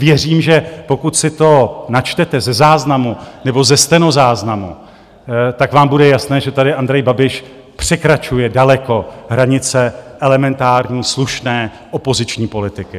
Věřím, že pokud si to načtete ze záznamu nebo ze stenozáznamu, tak vám bude jasné, že tady Andrej Babiš překračuje daleko hranice elementární slušné opoziční politiky.